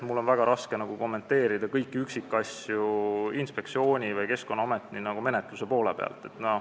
Mul on väga raske kommenteerida kõiki üksikasju inspektsiooni või Keskkonnaameti menetluse poole pealt.